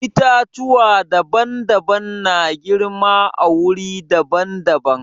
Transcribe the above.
Itatuwa daban-daban na girma a wuri daban-daban.